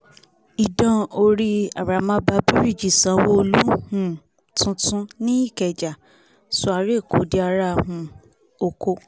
idán orí arámàbà bíríìjì ṣànwò-olú um tuntun ni ìkèjà sọ ara ẹ̀kọ́ di ara um ọkọ̀